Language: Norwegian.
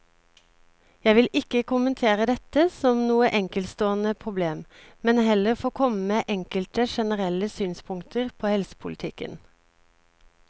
Jeg vil ikke kommentere dette som noe enkeltstående problem, men heller få komme med enkelte generelle synspunkter på helsepolitikken.